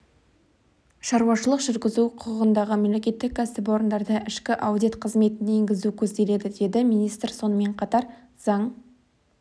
шаруашылық жүргізу құқығындағы мемлекеттік кәсіпорындарда ішкі аудит қызметін енгізу көзделеді деді министр сонымен қатар заң